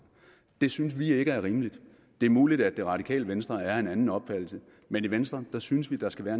det synes vi ikke er rimeligt det er muligt at radikale venstre er af en anden opfattelse men i venstre synes vi der skal være